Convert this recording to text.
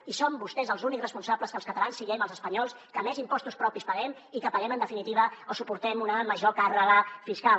i són vostès els únics responsables que els catalans siguem els espanyols que més impostos propis paguem i que paguem en definitiva o suportem una major càrrega fiscal